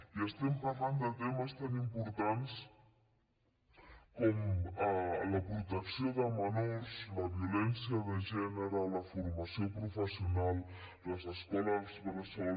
i estem parlant de temes tan importants com la protecció de menors la violència de gènere la formació professional les escoles bressol